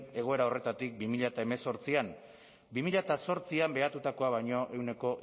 egoera horretatik bi mila hemezortzian bi mila zortzian behatutakoa baino ehuneko